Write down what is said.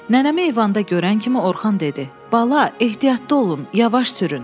Nənəmi eyvanda görən kimi Orxan dedi: Bala, ehtiyatlı olun, yavaş sürün.